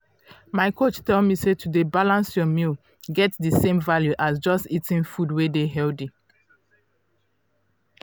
my coach tell me say to dey balance your meals get di same value as just eating food wey dey healthy.